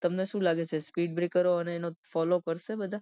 તમને શુ લાગે છે speed breaker અને ફોલોવ કરશે બધા